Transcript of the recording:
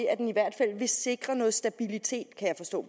at den i hvert fald vil sikre noget stabilitet